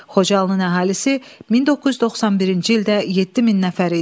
Xocalının əhalisi 1991-ci ildə 7000 nəfər idi.